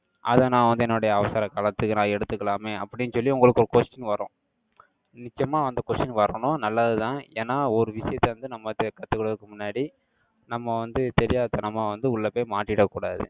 அதை, நான் வந்து, என்னுடைய அவசர காலத்துக்கு, நான் எடுத்துக்கலாமே, அப்படின்னு சொல்லி, உங்களுக்கு ஒரு question வரும். நிச்சயமா, அந்த question வரணும். நல்லதுதான். ஏன்னா, ஒரு விஷயத்த வந்து, நம்ம கத்துக்கிறதுக்கு முன்னாடி, நம்ம வந்து, தெரியாத்தனமா வந்து, உள்ள போய் மாட்டிடக் கூடாது.